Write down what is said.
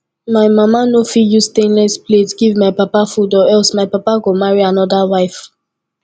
my mama no fit use stainless plate give my papa food or else my papa go marry another wife